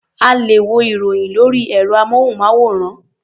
A lè wo ìròyìn lórí ẹ̀rọ-amóhùnmáwòrán.